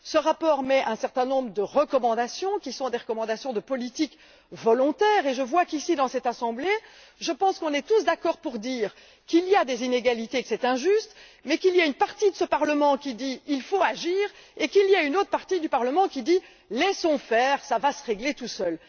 Ce rapport émet un certain nombre de recommandations, qui sont des recommandations de politiques volontaires et je vois qu'ici, dans cette assemblée, nous sommes tous d'accord pour dire qu'il y a des inégalités et que c'est injuste, mais il y a une partie de ce Parlement qui dit Il faut agir et il y a une autre partie qui dit Laissons faire, cela va se régler tout seul.